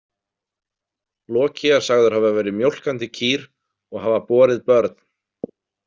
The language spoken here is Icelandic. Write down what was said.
Loki er sagður hafa verið mjólkandi kýr og hafa borið börn.